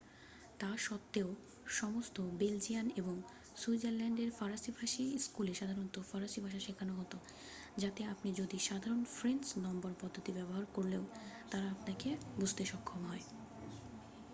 তা সত্ত্বেও সমস্ত বেলজিয়ান এবং সুইজারল্যাণ্ডের ফরাসীভাষী স্কুলে সাধারণ ফরাসী ভাষা শেখানো হতো যাতে আপনি যদি সাধারণ ফ্রেঞ্চ নম্বর পদ্ধতি ব্যবহার করলেও তারা আপনাকে বুঝতে সক্ষম হয়